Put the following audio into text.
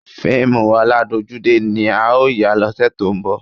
Fíìmù ọládojúdé ni a ó yà lọ́sẹ̀ tó ń bọ̀